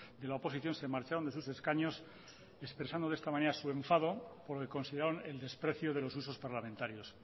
de la oposición se marcharon de sus escaños expresando de esta manera su enfado por el que consideraron el desprecio de los usos parlamentarios